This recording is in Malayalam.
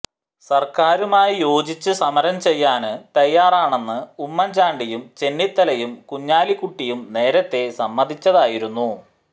സര്ക്കാരുമായി യോജിച്ച് സമരം ചെയ്യാന് തയ്യാറാണെന്ന് ഉമ്മന് ചാണ്ടിയും ചെന്നിത്തലയും കുഞ്ഞാലിക്കുട്ടിയും നേരത്തെ സമ്മതിച്ചതായിരുന്നു